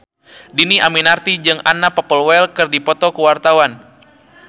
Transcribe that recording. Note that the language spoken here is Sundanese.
Dhini Aminarti jeung Anna Popplewell keur dipoto ku wartawan